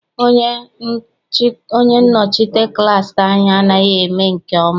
Onye nnọchite klass anyị anaghị eme nke ọma.